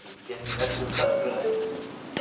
De terminar aquele roçado grande, né?